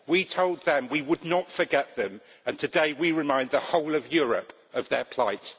We told them we would not forget them, and today we remind the whole of Europe of their plight.